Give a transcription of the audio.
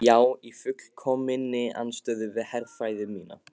Já í fullkominni andstöðu við herfræði mína.